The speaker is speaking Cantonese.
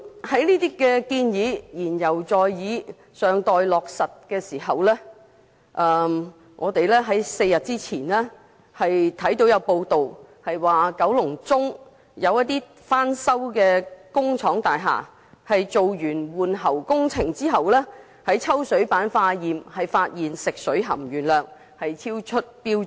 在上述建議言猶在耳、尚待落實之際 ，4 天前有報道指出，九龍中有翻修工廠大廈在完成換喉工程並抽取水樣本化驗時，發現食水含鉛量超出標準。